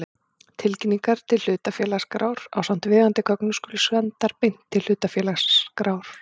Tilkynningar til hlutafélagaskrár ásamt viðeigandi gögnum skulu sendar beint til hlutafélagaskrár.